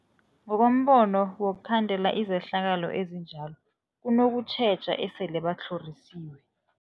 Ngokombono wokhandela izehlakalo ezinjalo kunokutjheja esele batlhorisiwe.